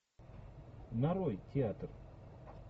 нарой театр